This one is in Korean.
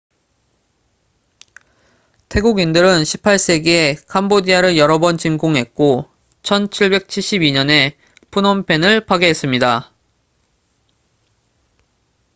태국인들은 18세기에 캄보디아를 여러 번 침공했고 1772년에 프놈펜을 파괴했습니다